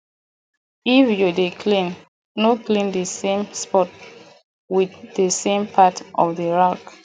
if you dey clean no clean the same spot with the same part of the rag